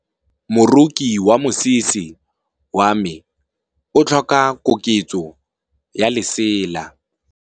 Moroki wa mosese wa me o tlhoka koketsô ya lesela.